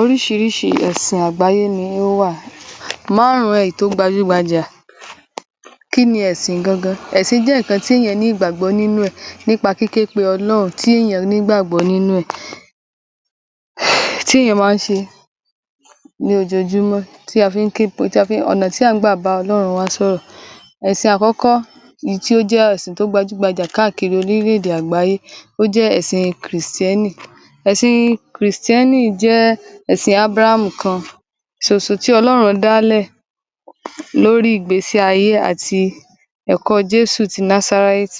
Oríṣiríṣi ẹ̀sìn àgbáyé ló wà. Márùn-ún ẹ̀ tó gbajúgbajà. Kí ni ẹ̀sìn gangan? Ẹ̀sìñ jẹ́ nǹkan tí èèyàn gbàgbọ́ nínú ẹ̀, nípa kíképe ọlọ́run tí èẹ̀yàn ní gbàgbọ́ nínú ẹ̀, tí èèyàn máa ń ṣe ní ojoojúmọ́, ọ̀nà tí à ń gbà bá ọlọ́run wa sọ̀rọ̀. Ẹ̀sìñ àkọ́kọ́ tí ó gbajúgbajà káàkiri oríléèdè àgbáyé jẹ́ èsì kìrìsìtẹ́nì. Ẹ̀sìn kìrìsìtẹ́nì jẹ́ èṣìn Abraham kan ṣoṣo tí ọlọ́run dálẹ̀ lórí ìgbésí-ayé àti ẹ̀kọ́ Jẹ́sù ti Nazareth.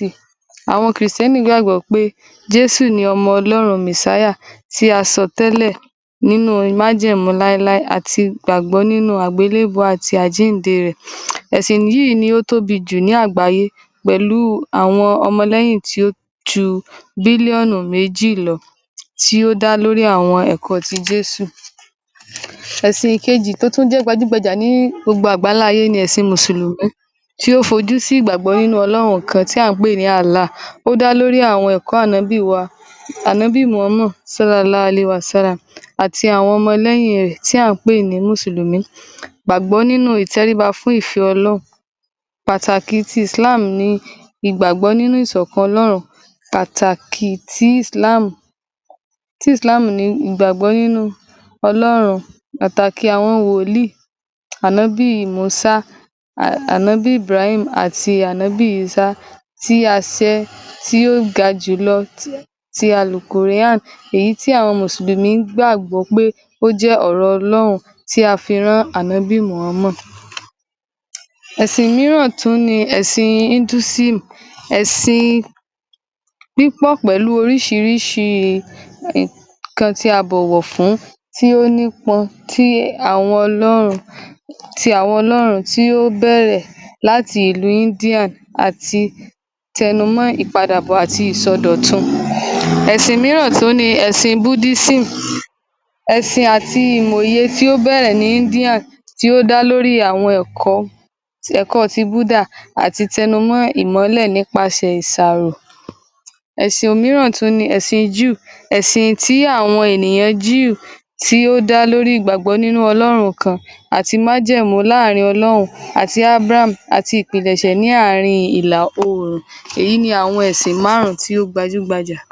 Àwọn christian gbàgbọ́ pé jésù ni ọmọ ọlọ́run messiah tí a sọ tẹ́lẹ̀ nínú májẹ̀mú láéláé àti ìgbàgbọ́ nínú àgbélèbú àti àjínde rẹ̀. Ẹ̀sìn yìí ni ó tóbi jù ní àgbáyé pẹ̀lú àọn ọmọ léyìn tí ó ju billion méjì lọ tí ó dá lórí àwọn ẹ̀kọ́ ti jésù. Ẹ̀sìn kejì tó tún jẹ́ gbajúgbajà ní gbogbo àgbá ńlá ayé ni ẹ̀sìn Mùsùlùmí tí ó fojú sínú ìgbàgbọ́ nínú ọlọ́run ọ̀kan tí à ń pè ní Allah. Ó dá lórí ẹ̀kọ́ ànábì Muhammad sallahllahu alayhi wasallam àti àwọn ọmọ lẹ́yìn rẹ̀ tí à ń pè ní Mùsùlùmí gbàgbọ́ nínú ìtẹ̀ríba fún ìfẹ́ ọlọ́run. Pàtàkì ẹ̀sìn ti Islam ni gbàgbọ́ nínú ìṣọ̀kan ọlọ́run. Pàtàkì àwọn wolíì ànábì Músá, ànábì Ibrahim àti ànábì ísá ti àsẹ tí ó gajù lọ ti al-quran èyí tí àwọn Mùsùlùmí gbàgbọ́ pé ó jẹ́ ọ̀rọ̀ ọlọ́run tí a fi rán ànábì muhammad. Ẹ̀sìn mìíràn tún ni ẹ̀sìn Hindusim. Ẹ̀sìn pípọ̀ pẹ̀lú oríṣiríṣi ohun tí a bọ̀wọ̀ fún tí ó nípọ̀n tí àwọn ọlọ́run tí ó bẹ̀rẹ̀ láti ìlú Indian àti àtẹnumọ́ ìpadàbọ̀ àti àsọdọ̀tun. Ẹ̀sìn mìíràn tún ni ẹ̀sìn Budism. Ẹ̀sìn àti ìmoye tí ó bẹ̀rẹ̀ ní Indian tí ó dá lórí àwọn ẹ̀kọ́ ti Buda àti ìtẹnumọ́ ìmọ́lẹ̀ nípasẹ̀ ìsàrò. Ẹ̀sìn mìíràn tún ni ẹ̀sìn Jew. Ẹ̀sìñ tí àwọn ènìyàn Jew tí ó dá lórí ìgbàgbọ́ nínú ọlọ́run kan àti májẹ̀mú láàrin ọlọ́run àti Abraham àti ìpìlẹ̀ṣẹ̀ láàrin ìlà oòrùn. Èyí ni àwọn ẹ̀sìn márùn-ún tí ó gbajúgbajà.